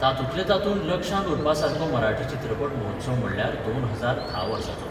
तातूंतल्या तातूंत लक्षांत उरपा सारको मराठी चित्रपट महोत्सव म्हणल्यार 2010 वर्साचो.